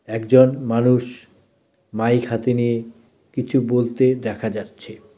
একজন মানুষ মাইক হাতে নিয়ে কিছু বলতে দেখা যাচ্ছে.